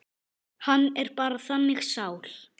Hann er bara þannig sál.